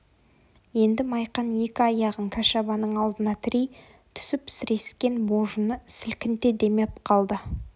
енді майқан екі аяғын кәшабаның алдына тірей түсіп сірескен божыны сілкінте демеп қалды